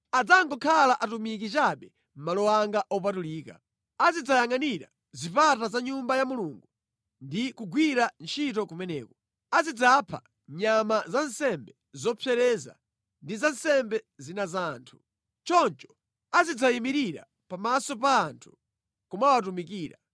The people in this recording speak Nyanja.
Adzangokhala atumiki chabe mʼmalo anga opatulika. Azidzayangʼanira zipata za Nyumba ya Mulungu ndi kugwira ntchito kumeneko. Azidzapha nyama za nsembe zopsereza ndi za nsembe zina za anthu. Choncho azidzayimirira pamaso pa anthu nʼkumawatumikira.